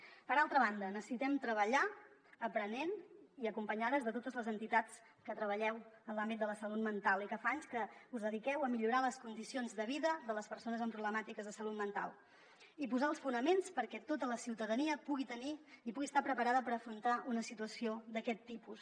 per altra banda necessitem treballar aprenent i acompanyades de totes les entitats que treballeu en l’àmbit de la salut mental i que fa anys que us dediqueu a millorar les condicions de vida de les persones amb problemàtiques de salut mental i posar els fonaments perquè tota la ciutadania pugui tenir i pugui estar preparada per afrontar una situació d’aquest tipus